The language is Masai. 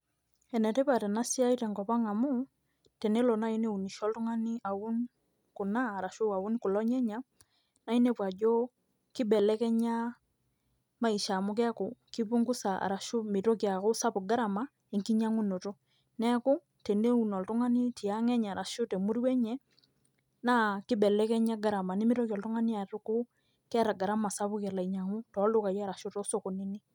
Enetipat enasiai tenkop ang amu, tenelo nai neunisho oltung'ani aun kuna, arashu aun kulo nyanya, na inepu ajo, kibelekenya maisha amu keeku ki punguza ashu mitoki aku sapuk gharama enkinyang'unoto. Neeku, teneun oltung'ani tiang' enye arashu temurua enye, naa kibelekenya gharama. Nimitoki oltung'ani atuku, keeta gharama sapuk elo ainyang'u, toldukai arashu tosokonini.